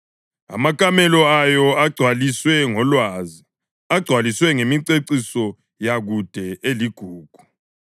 amakamelo ayo agcwaliswe ngolwazi, agcwaliswe ngemiceciso yakude eligugu.